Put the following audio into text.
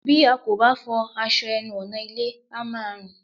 Bí a kò bá fọ aṣọ ẹnu ọ̀nà ilé, á máa rùn